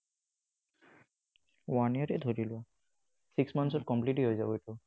One year এই ধৰি লোৱা six months ত complete এই হৈ যাব এইটো।